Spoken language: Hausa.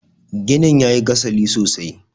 ginin ya yi gasali sosai